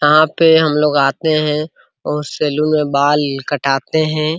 यहाँ पे हमलोग आते है और सैलून में बाल कटाते हैं।